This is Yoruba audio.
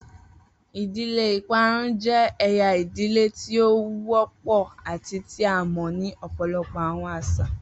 Idile iparun jẹ ẹya idile ti o wọpọ ati ti a mọ ni ọpọlọpọ awọn aṣa.